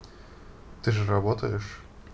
ты же работаешь